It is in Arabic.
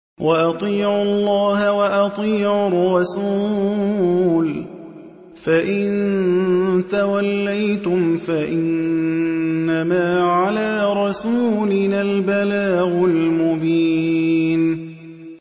وَأَطِيعُوا اللَّهَ وَأَطِيعُوا الرَّسُولَ ۚ فَإِن تَوَلَّيْتُمْ فَإِنَّمَا عَلَىٰ رَسُولِنَا الْبَلَاغُ الْمُبِينُ